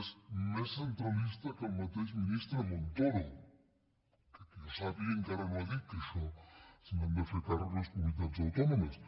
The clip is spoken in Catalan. és més centralista que el mateix ministre montoro que que jo sàpiga encara no ha dit que d’això se n’han de fer càrrec les comunitats autònomes